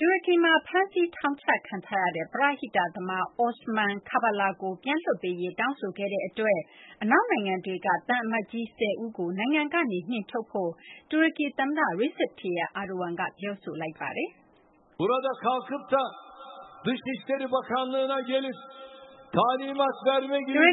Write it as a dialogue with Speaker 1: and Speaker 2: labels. Speaker 1: တူရကီမှာ ဖမ်းဆီးထောင်ချခံထားရတဲ့ ပရဟိတသမား Osman Kavala ကို ပြန်လွှတ်ပေးရေး တောင်းဆိုခဲ့တဲ့အတွက် အနောက်နိုင်ငံတွေက သံအမတ်ကြီး ၁၀ ဦးကို နိုင်ငံကနေ နှင်ထုတ်ဖို့ တူရကီသမ္မတ Tayyip Erdogan က ပြောလိုက်ပါတယ်။
Speaker 2: “တူရကီ